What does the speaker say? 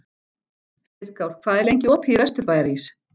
Styrkár, hvað er lengi opið í Vesturbæjarís?